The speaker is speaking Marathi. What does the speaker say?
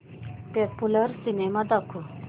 पॉप्युलर सिनेमा दाखव